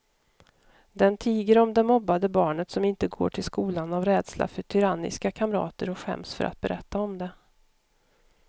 Den tiger om det mobbade barnet som inte går till skolan av rädsla för tyranniska kamrater och skäms för att berätta om det.